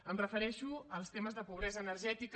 em refereixo als temes de pobresa energètica